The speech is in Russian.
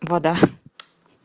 вода